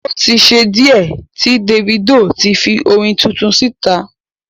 O tí ṣe díẹ̀ tí Davido ti fi orin tuntun síta.